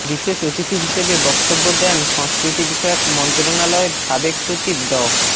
বিশেষ অতিথি হিসেবে বক্তব্য দেন সংস্কৃতিবিষয়ক মন্ত্রণালয়ের সাবেক সচিব ড